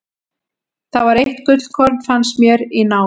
Það var eitt gullkorn, fannst mér, í nál.